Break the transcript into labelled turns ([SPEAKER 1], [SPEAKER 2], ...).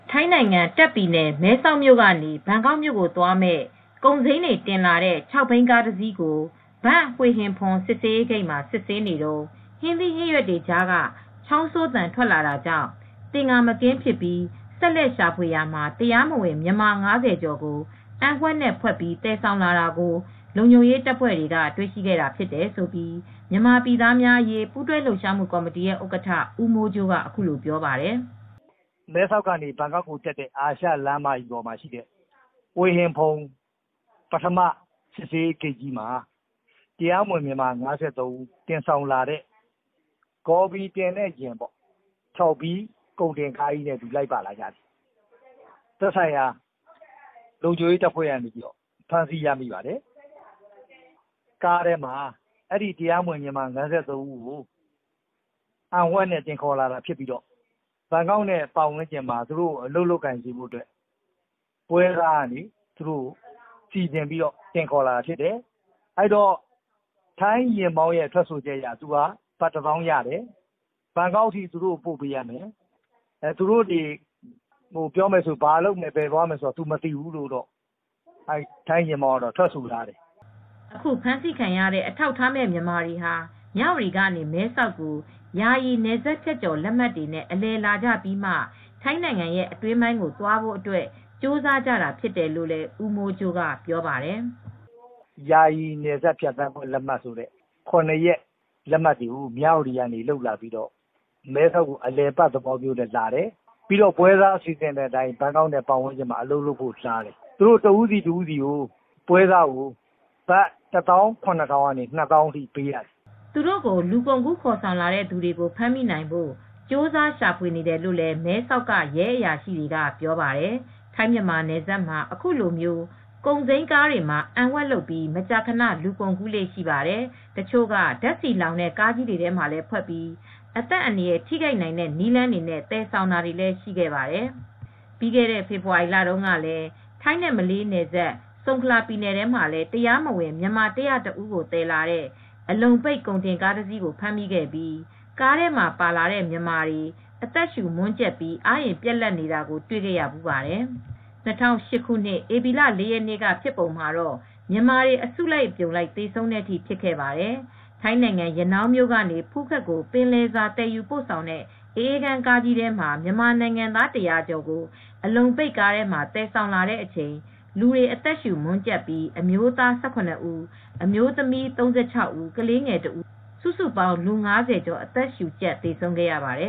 [SPEAKER 1] ထိုင်းနိုင်ငံ တာ့ခ်ပြည်နယ် မဲဆောက်မြို့ကနေ ဘန်ကောက်မြို့ကိုသွားမယ့် ကုန်စိမ်းတွေ တင်လာတဲ့ ၆ ဘီးကားတစီးကို ဘန်ဟွေဟင်ဖွန် စစ်ဆေးရေး ဂိတ်မှာ စစ်ဆေးနေတုန်း ဟင်းသီးဟင်းရွက်တွေကြားက ချောင်းဆိုးသံ ထွက်လာတာကြောင့် သင်္ကာမကင်းဖြစ်ပြီး ဆက်လက် ရှာဖွေရာမှာ တရားမဝင် မြန်မာ ၅၀ ကျော်ကို အံဝှက်နဲ့ ဝှက်ပြီး သယ်ဆောင်လာတာကို လုံခြုံရေးတပ်ဖွဲ့တွေက တွေ့ရှိခဲ့တာဖြစ်တယ်လို့ မြန်မာပြည်သားအရေး ပူးတွဲ
[SPEAKER 2] လှုပ်ရှားမှု ကော်မတီရဲ့ ဥက္ကဋ္ဌ ဦးမိုးကြိုးက အခုလို ပြောပါတယ်။ "မဲဆောက်ကနေ ဘန်ကောက်တက်တဲ့ အာရှလမ်းမကြီးပေါ်မှာရှိတဲ့ ဟွေဟင်ဖွန် ပထမ စစ်ဆေးရေးဂိတ်မှာ တရားမဝင် မြန်မာ ၅၃ ဦးက ဂေါ်ဖီတင်တဲ့ ၆ ဘီးကားကြီးနဲ့ လိုက်ပါလာတယ်။ သက်ဆိုင်ရာ လုံခြုံရေးတပ်ဖွဲ့ကနေ ဖမ်းဆီးရမိပါတယ်။ ကားထဲမှာ တရားမဝင် မြန်မာ ၅၃ ဦးကို အံဝှက်နဲ့ တင်ခေါ်လာတာ ဖြစ်ပြီးတော့ ဘန်ကောက်နဲ့ ပတ်ဝန်းကျင်မှာ အလုပ်လုပ်ဖို့ ပွဲစားက စီစဉ်ပြီး တင်ခေါ်လာတာဖြစ်တယ်။ ထိုင်းယာဉ်မောင်းရဲ့ ထွက်ဆိုချက်အရ ဘတ်တသောင်းနဲ့ သယ်လာတယ် ဖြစ်တယ်။ ဘန်ကောက်ထိ ပို့ရမယ်။ သူတို့ကို ဘယ်သွားမယ် ဘာလုပ်မယ်ဆိုတာ မသိဘူးလို့ ထိုင်းယာဉ်မောင်းက ထွက်ဆိုတယ်။
[SPEAKER 1] " အခုဖမ်းဆီးခံရတဲ့ အထောက်အထားမဲ့ မြန်မာတွေဟာ မြဝတီကနေ မဲဆောက်ကို ယာယီ နယ်စပ်ဖြတ်ကျော် လက်မှတ်တွေနဲ့ အလည်လာကြပြီးမှ ထိုင်းနိုင်ငံ အတွင်းပိုင်းကို သွားဖို့အတွက် ကြိုးစားကြတာ ဖြစ်တယ်လို့လည်း ဦးမိုးကြိုးက ပြောပါတယ်။
[SPEAKER 2] "ယာယီ နယ်စပ်ဖြတ်သန်းတဲ့ လက်မှတ်တွေနဲ့ သူတို့လာတယ်။ ၇ ရက်လက်မှတ်ကို မြဝတီကနေ လုပ်ပြီး မဲဆောက်ကို အလည်အပတ် သဘောမျိုး လာတယ်။ ပွဲစားစီစဉ်တဲ့အတိုင်း ဘန်ကောက် တက်ဖို့ လုပ်တယ်။ သူတို့ တဦးချင်းစီကို ဘတ်ငွေ ၁၇,၀၀၀ ကနေ ၂၀,၀၀၀ လောက်ထိ ပေးရတယ် ပြောတယ်။
[SPEAKER 1] " သူတို့ကို လူကုန်ကူး ခေါ်ဆောင်လာတဲ့ သူတွေကို ဖမ်းမိနိုင်ဖို့ ကြိုးစား ရှာဖွေနေတယ်လို့ မဲဆောက်က ရဲအရာရှိတွေက ပြောပါတယ်။ ထိုင်းမြန်မာနယ်စပ်မှာ အခုလို ကုန်စိမ်းကားတွေမှာ အံဝှက်လုပ်ပြီး မကြာခဏ လူကုန်ကူးလေ့ ရှိပါတယ်။ တချို့က ဓါတ်ဆီလှောင်တဲ့ ကားကြီးတွေထဲမှာလည်း ဝှက်ပြီး အသက်အန္တရာယ် ထိခိုက်နိုင်တဲ့ နည်းလမ်းတွေနဲ့ သယ်ဆောင်တာတွေလည်း ရှိခဲ့ပါတယ်။ ပြီးခဲ့တဲ့ ဖေဖော်ဝါရီလတုန်းကလည်း ထိုင်းနဲ့ မလေးရှား နယ်စပ် ဆုံခလာပြည်နယ်ထဲမှာလည်း တရားမဝင် မြန်မာ ၁၀၁ ဦးကို တင်လာတဲ့ အလုံပိတ် ကုန်တင်ကားတစီးကို ဖမ်းမိခဲ့ပြီး ကားထဲမှာ ပါလာတဲ့ မြန်မာတွေ အသက်ရှူ မွန်းကြပ်ပြီး အားအင်ပြတ်လပ်နေတာတွေ တွေ့ခဲ့ရဖူးပါတယ်။ ၂၀၀၈ ခုနှစ်၊ ဧပြီလ ၄ ရက်နေ့က ဖြစ်စဉ်မှာတော့ မြန်မာတွေ အစုလိုက် အပြုံလိုက် သေဆုံးတဲ့အထိ ဖြစ်ခဲ့ပါတယ်။ ထိုင်းနိုင်ငံ ရနောင်းမြို့ကနေ ဖူးခက်ကို ပင်လယ်စာ သယ်ယူပို့ဆောင်တဲ့ အအေးခန်း ကားအကြီးထဲမှာ မြန်မာနိုင်ငံသား ၁၀၀ ကျော်ကို အလုံပိတ်ကားထဲမှာ သယ်ဆောင်လာတဲ့အချိန် လူတွေ အသက်ရှုမွန်းကြပ်ပြီး အမျိုးသား ၁၇ ဦး၊ အမျိုးသမီး ၃၆ ဦး၊ ကလေးငယ် ၁ ဦး၊ စုစုပေါင်း လူ ၅၀ ကျော် အသက်ရှုကြပ် သေဆုံးခဲ့ရပါတယ